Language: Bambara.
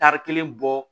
Tari kelen bɔ